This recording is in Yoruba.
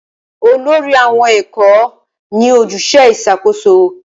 Olórí àwọn ẹ̀kọ́ ní ojúṣe ìṣàkóso